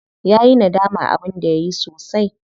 Yayi nadaman abin da yayi sosai.